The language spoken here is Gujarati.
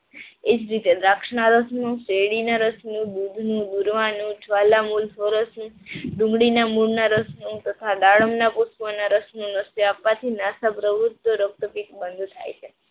એજ રીતે દ્રાક્ષના રસનું, સેરડીના રસનું, દૂધિની દુલવાનનું, ડુંડીના મૂડના રસનું તથા દાડમના પુષ્પ ના રસના નશ્ય આપવાથી નાસા સર્વત્ર રક્તપ્રીત બંદ થાય છે.